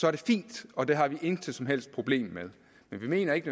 er det fint og det har vi intet som helst problem med men vi mener ikke